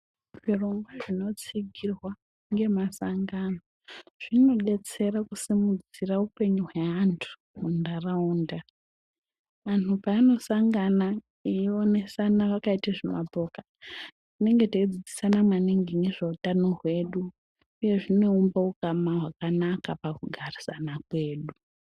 Zvirongwa zvinotsigirwa ngemasangano zvinobetsera kusimudzira upenyu hweantu muntaraunda. Antu paanosangana eionesana vakaite zvimapoka tinenge teidzidzisana maningi ndizvona utano hwedu, uye zvinoumba ukama hwakanaka pakugarisana kwedu.